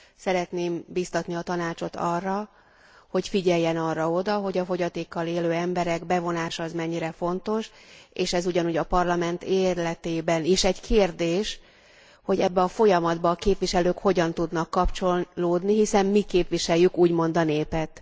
Szeretném bíztatni a Tanácsot arra, hogy figyeljen arra oda, hogy a fogyatékkal élő emberek bevonása az mennyire fontos, és ez ugyanúgy a Parlament életében is egy kérdés, hogy ebbe a folyamatba a képviselők hogyan tudnak kapcsolódni, hiszen mi képviseljük úgymond a népet.